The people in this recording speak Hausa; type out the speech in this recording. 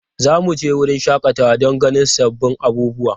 Za mu je wurin shakatawa don ganin sabbin abubuwa.